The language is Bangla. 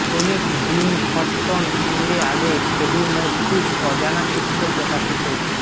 প্রেমিক জিম হটটন সঙ্গে আগে ফ্রেডি মর্চির অজানা চিত্র প্রকাশিত